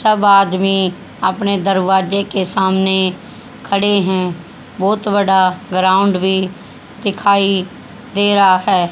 सब आदमी अपने दरवाजे के सामने खड़े हैं बहुत बड़ा ग्राउंड भी दिखाई दे रहा है।